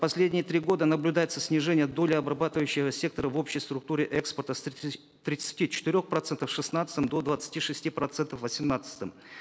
последние три года наблюдается снижение доли обрабатывающего сектора в общей структуре экспорта с тридцати четырех процентов в шестнадцатом до двадцати шести процентов в восемнадцатом